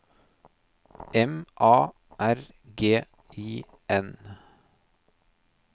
M A R G I N